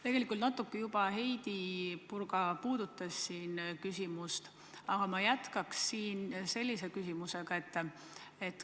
Tegelikult Heidy Purga natukene juba puudutas siin seda küsimust, aga ma jätkaksin veel sellega.